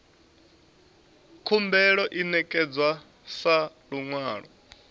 khumbelo i ṋekedzwa sa luṅwalo